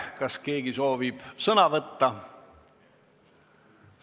Kas keegi soovib sõna võtta?